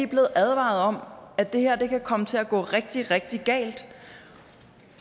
blevet advaret om at det her kan komme til at gå rigtig rigtig galt